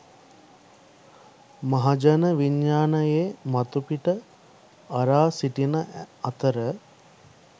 මහජන විඥානයේ මතුපිට අරා සිටින අතර